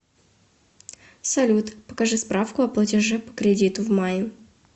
салют покажи справку о платеже по кредиту в мае